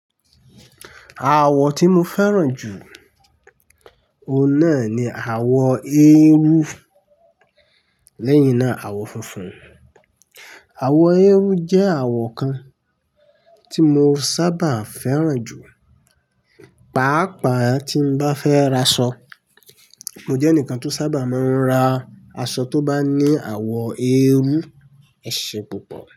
Àwọ̀ tí mo fẹ́ràn jù, òun náà ni àwọ̀ eérú. Leyin náà, àwọ̀ funfun. Àwọ̀ eérú jẹ́ àwọ̀ kan tí mo sábà fẹ́ràn jù, pàápàá tí n bá fẹ́ ra aṣọ. Mo jẹ́ ẹnìkan tó sábà máa ń ra aṣọ tó bá ní àwọ̀ eérú ese púpọ̀.